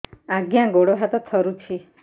ଆଜ୍ଞା ଗୋଡ଼ ହାତ ଥରୁଛି